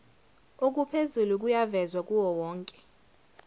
okuphezulu kuyavezwa kuwowonke